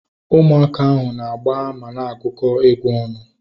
Ụmụaka ahu na-agba mana agukọ egwu ọnụ